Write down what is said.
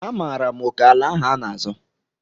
Amaara m oke ala ahụ a n'azọ.